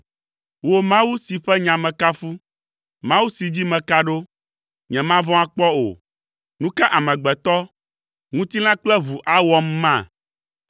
Wò Mawu si ƒe nya mekafu, Mawu si dzi meka ɖo; nyemavɔ̃ akpɔ o. Nu ka amegbetɔ, ŋutilã kple ʋu, awɔm ma?